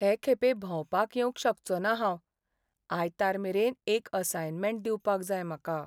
हे खेपे भोंवपाक येवंक शकचो ना हांव. आयतार मेरेन एक असायनमँट दिवपाक जाय म्हाका.